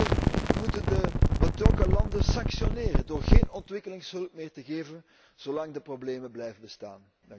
Ten tweede moeten we de betrokken landen sanctioneren door geen ontwikkelingshulp meer te geven zolang de problemen blijven bestaan.